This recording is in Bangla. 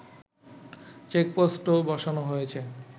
চেকপোস্টও বসানো হয়েছে